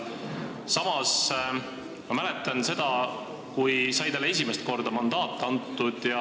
Samas ma mäletan seda, kui talle esimest korda mandaat sai antud.